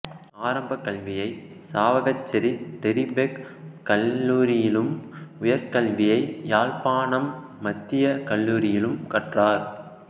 ஆரம்பக் கல்வியை சாவகச்சேரி டிறிபேக் கல்லூரியிலும் உயர் கல்வியை யாழ்ப்பாணம் மத்திய கல்லூரியிலும் கற்றார்